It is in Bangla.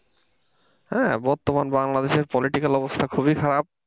হ্যাঁ বর্তমান বাংলাদেশের political অবস্থা খুবই খারাপ।